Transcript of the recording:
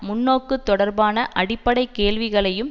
முன்னோக்கு தொடர்பான அடிப்படை கேள்விகளையும்